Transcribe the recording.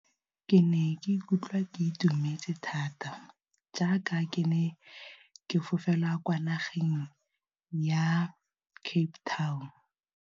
Ke ne ka ikutlwa ke itumetse thata, jaaka ke ne ke fofela kwa nageng ya Cape Town.